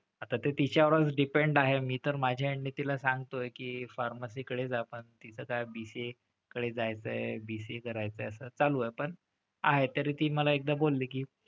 आता ते तिच्यावरच depend आहे. मी तर माझ्या end ने तिला सांगतोय की pharmacy कडे जा पण तिचं काय BCA कडे जायचंय. BCA करायचंय असं चालू आहे. पण आहे तरी ती मला एकदा बोलली की,